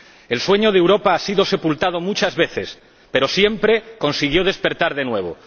El sueño de Europa ha sido sepultado muchas veces, pero siempre consiguió despertar de nuevo.